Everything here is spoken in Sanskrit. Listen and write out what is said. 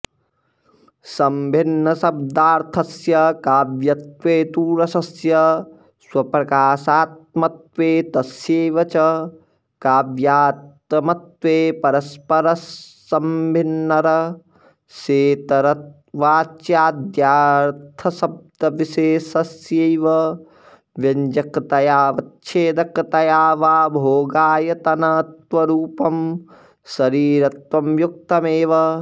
सम्भिन्नशब्दार्थस्य काव्यत्वे तु रसस्य स्वप्रकाशात्मत्वे तस्यैव च काव्यात्मत्वे परस्परसम्भिन्नरसेतरवाच्याद्यर्थशब्दविशेषस्यैव व्यञ्जकतयाऽवच्छेदकतया वा भोगायतनत्वरूपं शरीरत्वं युक्तमेव